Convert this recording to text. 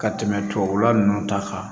Ka tɛmɛ tubabula nunnu ta kan